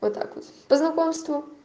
вот так вот по знакомству